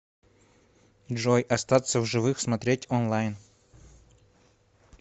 джой остаться в живых смотреть онлайн